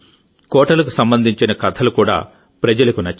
కోటలకు సంబంధించిన కథలు కూడా ప్రజలకు నచ్చాయి